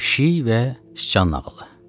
Pişik və sıçan nağılı.